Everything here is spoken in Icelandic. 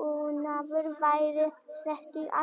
búnaður væri settur í alla bíla?